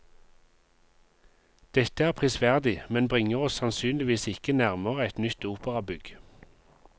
Dette er prisverdig, men bringer oss sannsynligvis ikke nærmere et nytt operabygg.